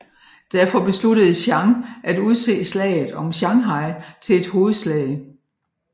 Derfor besluttede Chiang at udse slaget om Shanghai til et hovedslag